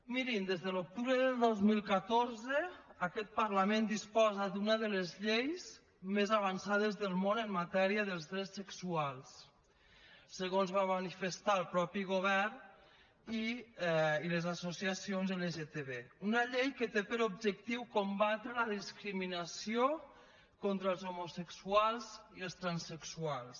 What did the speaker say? mirin des de l’octubre del dos mil catorze aquest parlament disposa d’una de les lleis més avançades del món en matèria dels drets sexuals segons van manifestar el mateix govern i les associacions lgtb una llei que té per objectiu combatre la discriminació contra els homosexuals i els transsexuals